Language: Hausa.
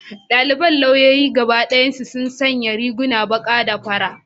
Daliban lauyoyi gaba dayansu sun sanya rigar baka da fari.